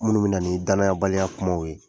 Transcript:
Minnu bina ni danayabaliya kumaw ye